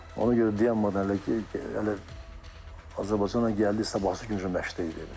Ona görə dayanmadan elə ki, elə Azərbaycana gəldi, sabahsı gün məşqə getdik.